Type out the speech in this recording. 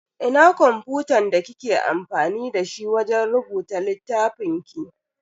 Ina kwamfutan da kike amfani dashi wajen rubuta littafin ki?